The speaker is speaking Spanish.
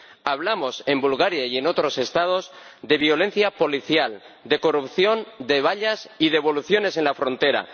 Hablamos, en Bulgaria y en otros Estados, de violencia policial, de corrupción, de vallas y devoluciones en la frontera.